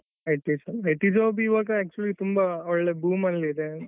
IT job ಈಗ actually ಒಳ್ಳೆ boom ಅಲ್ಲಿ ಇದೆ.